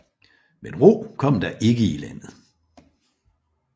Men ro kom der ikke i landet